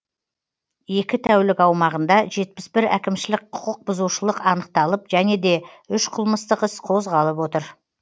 екі тәулік аумағында жетпіс бір әкімшілік құқықбұзушылық анықталып және де үш қылмыстық іс қозғалып отыр